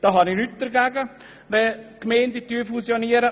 Ich habe nichts dagegen, wenn Gemeinden fusionieren.